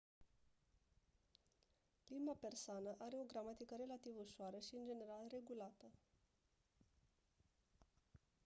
limba persană are o gramatică relativ ușoară și în general regulată